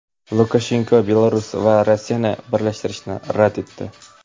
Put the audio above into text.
Lukashenko Belarus va Rossiyani birlashtirishni rad etdi.